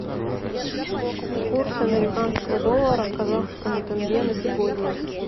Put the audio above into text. курс американского доллара к казахскому тенге на сегодня